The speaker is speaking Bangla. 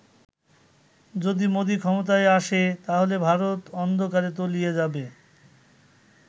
যদি মোদি ক্ষমতায় আসে, তাহলে ভারত অন্ধকারে তলিয়ে যাবে